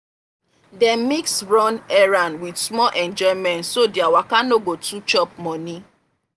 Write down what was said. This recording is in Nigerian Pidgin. dem mix run-errand with small enjoyment so their waka no go too chop money.